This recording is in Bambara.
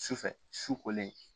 Sufɛ su kolen